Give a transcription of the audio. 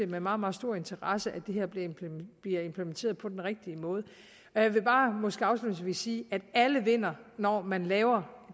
med meget meget stor interesse at det her bliver implementeret på den rigtige måde jeg vil bare måske afslutningsvis sige at alle vinder når man laver